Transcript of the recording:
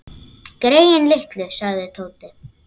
Greyin litlu sagði Tóti.